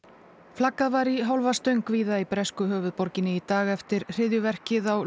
flaggað var í hálfa stöng víða í bresku höfuðborginni í dag eftir hryðjuverkið á